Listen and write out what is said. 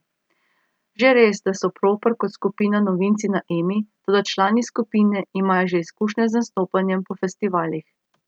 Že res, da so Proper kot skupina novinci na Emi, toda člani skupine imajo že izkušnje z nastopanjem po festivalih.